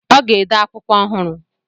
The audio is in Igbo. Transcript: Ọ ga-ede akwụkwọ ọhụrụ.